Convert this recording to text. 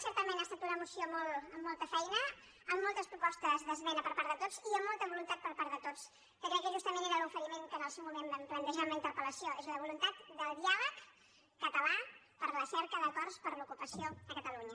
certament ha estat una moció amb molta feina amb moltes propostes d’esmena per part de tots i amb molta voluntat per part de tots que crec que justament era l’oferiment que en el seu moment vam plantejar en la interpelvoluntat de diàleg català per a la cerca d’acords per l’ocupació a catalunya